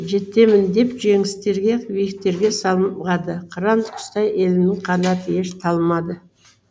жетеміндеп жеңістерге биіктерге самғады қыран құстай елімнің қанаты еш талмады